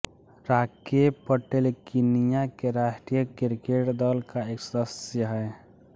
Rakep Patel Kenya के राष्ट्रिय cricket दल का एक सदस्य है